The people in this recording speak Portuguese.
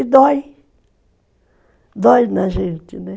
E dói, dói na gente, né?